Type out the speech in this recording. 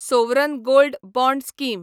sovereign gold bond scheme